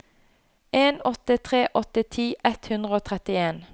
en åtte tre åtte ti ett hundre og trettien